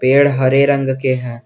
पेड़ हरे रंग के हैं।